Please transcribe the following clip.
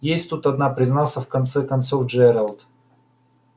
есть тут одна признался в конце концов джералд